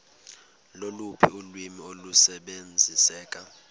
loluphi ulwimi olusebenziseka